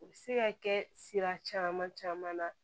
U bɛ se ka kɛ sira caman caman na